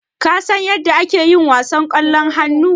Kasan yadda ake yin wasan ƙwallon hannu?